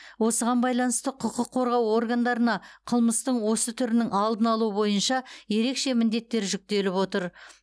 осыған байланысты құқық қорғау органдарына қылмыстың осы түрінің алдын алу бойынша ерекше міндеттер жүктеліп отыр